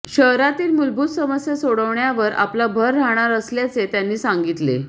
शहरातील मूलभूत समस्या सोडवण्यावर आपला भर राहणार असल्याचे त्यांनी सांगितले